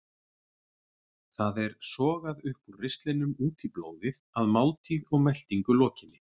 Það er sogað upp úr ristlinum út í blóðið að máltíð og meltingu lokinni.